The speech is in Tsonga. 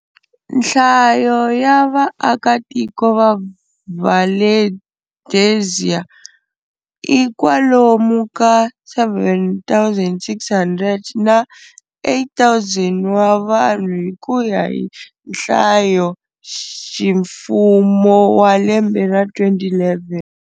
Nhlayo ya vaakatiko va Valdezia i kwalomu ka 7,600 na 8,000 wa vanhu hi kuya hi nhlayoximfumo wa lembe ra 2011.